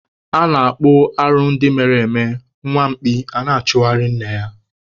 A na-akpụ arụ ndị mere eme, nwa mkpi a na-achụgharị nne ya.